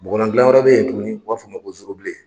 Bɔgɔlan gilan wɛrɛ bɛ yen tuguni u b'a f'o ma ko zoro bilen.